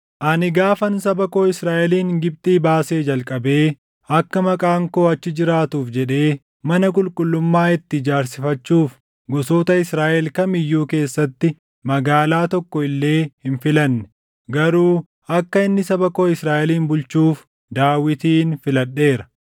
‘Ani gaafan saba koo Israaʼelin Gibxii baasee jalqabee akka Maqaan koo achi jiraatuuf jedhee mana qulqullummaa itti ijaarsifachuuf gosoota Israaʼel kam iyyuu keessatti magaalaa tokko illee hin filanne; garuu akka inni saba koo Israaʼelin bulchuuf Daawitin filadheera.’